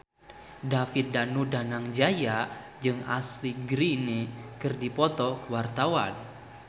David Danu Danangjaya jeung Ashley Greene keur dipoto ku wartawan